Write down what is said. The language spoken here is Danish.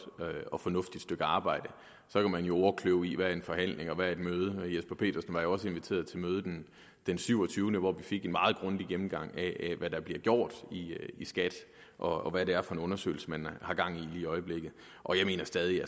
og fornuftigt stykke arbejde så kan man jo ordkløve hvad en forhandling og hvad et møde er herre jesper petersen var jo også inviteret til mødet den den 27 hvor vi fik en meget grundig gennemgang af hvad der bliver gjort i skat og hvad det er for en undersøgelse man har gang i lige i øjeblikket og jeg mener stadig